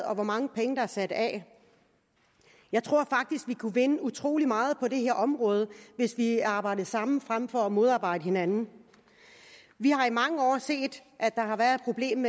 og hvor mange penge der er sat af jeg tror faktisk vi kunne vinde utrolig meget på det her område hvis vi arbejdede sammen frem for at modarbejde hinanden vi har i mange år set at der har været et problem